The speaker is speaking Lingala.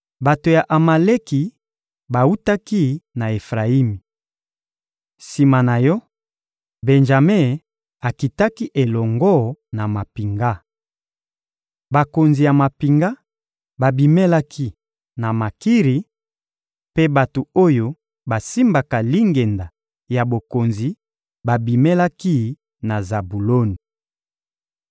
Bato ya Amaleki bawutaki na Efrayimi. Sima na yo, Benjame akitaki elongo na mampinga. Bakonzi ya mampinga babimelaki na Makiri, mpe bato oyo basimbaka lingenda ya bokonzi babimelaki na Zabuloni.